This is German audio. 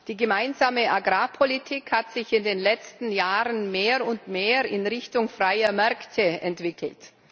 Die gemeinsame Agrarpolitik hat sich in den letzten Jahren mehr und mehr in Richtung freier Märkte entwickelt.